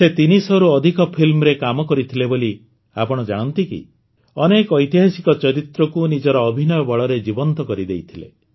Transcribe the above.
ସେ ତିନିଶହରୁ ଅଧିକ ଫିଲ୍ମରେ କାମ କରିଥିଲେ ବୋଲି ଆପଣ ଜାଣନ୍ତି କି ଅନେକ ଐତିହାସିକ ଚରିତ୍ରକୁ ନିଜର ଅଭିନୟ ବଳରେ ଜୀବନ୍ତ କରିଦେଇଥିଲେ